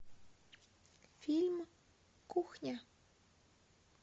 фильм кухня